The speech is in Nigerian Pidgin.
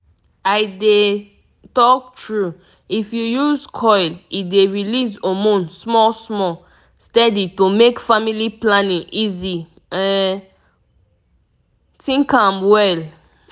i dey talk true if you use coil e dey release hormone small-small steady to make family planning easy um .pause small think am well.